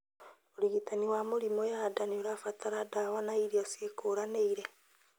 ũrigitani wa mĩrimũ ya nda noĩbatare ndawa na irio ciĩkũranĩire